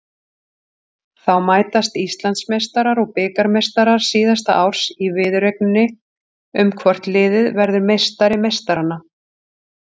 Þá mætast Íslandsmeistarar og bikarmeistarar síðasta árs í viðureigninni um hvort liðið verður meistari meistaranna.